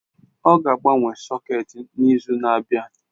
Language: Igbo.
Ọ ga-agbanwe sọ̀két n'izu na-abịa.